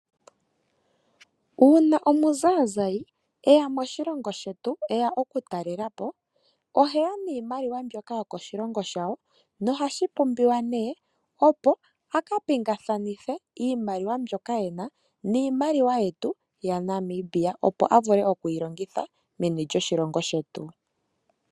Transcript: Uuna omuzaazayi e ya moshilongo shetu e ya okutalela po oheya niimaliwa mbyoka yokoshilongo shawo nohashi pumbiwa, a ka pingakanithe iimaliwa mbyoka e na niimaliwa yetu yaNamibia, opo a vule okuyi longitha menii lyoshilongo shetu.